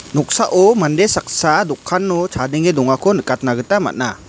noksao mande saksa dokano chadenge dongako nikatna gita man·a.